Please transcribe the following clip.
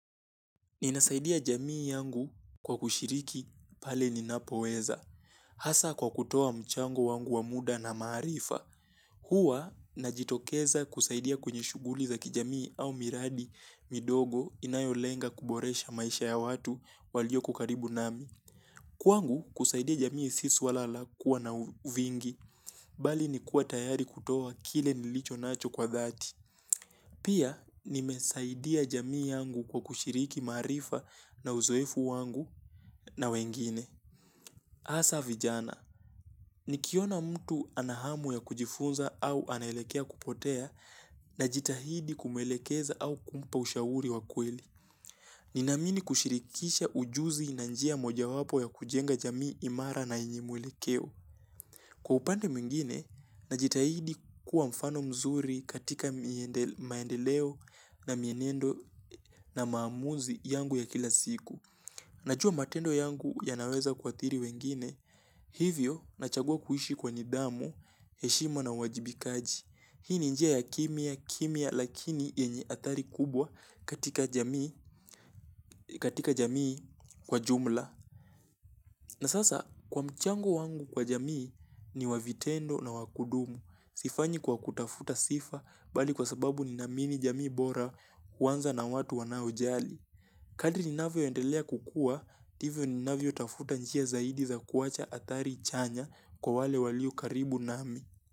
Ninasaidia jamii yangu kwa kushiriki pale ninapoweza. Hasa kwa kutoa mchango wangu wa muda na maarifa, huwa najitokeza kusaidia kwenye shughuli za kijamii au miradi midogo inayolenga kuboresha maisha ya watu walioko karibu nami. Kwangu kusaidia jamii si suala la kuwa na uvingi, bali ni kuwa tayari kutoa kile nilichonacho kwa dhati. Pia nimesaidia jamii yangu kwa kushiriki maarifa na uzoefu wangu na wengine. Asa vijana, nikiona mtu ana hamu ya kujifunza au anaelekea kupotea najitahidi kumwelekeza au kumpa ushauri wa kweli. Ninaamini kushirikisha ujuzi na njia mojawapo ya kujenga jamii imara na yenye mwelekeo. Kwa upande mwingine, najitahidi kuwa mfano mzuri katika maendeleo na mienendo na maamuzi yangu ya kila siku. Najua matendo yangu yanaweza kuathiri wengine, hivyo nachagua kuishi kwa nidhamu, heshima na uwajibikaji. Hii ni njia ya kimya, kimya lakini yenye athari kubwa katika jamii kwa jumla. Na sasa kwa mchango wangu kwa jamii ni wa vitendo na wa kudumu. Sifanyi kwa kutafuta sifa bali kwa sababu ninaamini jamii bora huanza na watu wanaojali. Kadri ninavyoendelea kukua, ndivyo ninavyotafuta njia zaidi za kuacha atjari chanya kwa wale walio karibu nami.